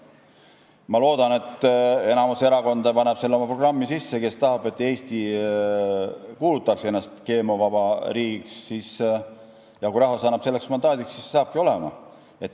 Ma loodan, et enamik erakondi, kes tahavad, et Eesti kuulutaks ennast GMO-vabaks riigiks, panevad selle oma programmi sisse, ja kui rahvas annab selleks mandaadi, siis see saabki nii olema.